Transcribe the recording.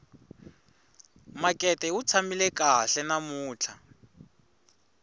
makete wu tshamile kahle namuntlha